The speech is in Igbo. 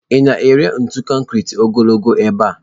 Ị na-ere ntu konkiri ogologo n'ebe a?